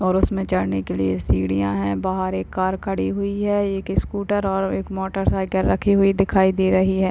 और उसमें चढ़ने के लिए सीढ़ियां है बाहर एक कार खड़ी हुई है एक स्कूटर और एक मोटरसाइकिल रखी हुई दिखाई दे रही है।